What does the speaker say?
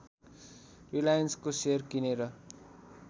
रिलायन्सको share किनेर